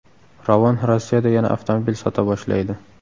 Ravon Rossiyada yana avtomobil sota boshlaydi .